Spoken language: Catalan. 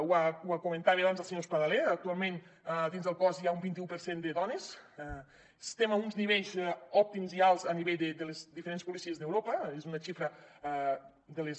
ho comentava abans el senyor espadaler actualment dins del cos hi ha un vint un per cent de dones estem a uns nivells òptims i alts a nivell de les diferents policies d’europa és una xifra de les més